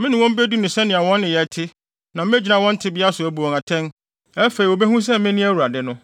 Me ne wɔn bedi no sɛnea wɔn nneyɛe te na megyina wɔn tebea so abu wɔn atɛn. Afei wobehu sɛ me ne Awurade no.’ ”